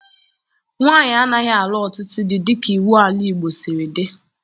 Nwaanyị anaghị alụ ọtụtụ di dịka iwu ala Igbo siri dị.